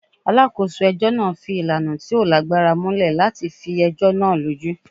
Alákòso ẹ̀jọ́ náà fi ìlànà tí o lágbára múlẹ̀ látifi ẹ̀jọ́ náà lójú.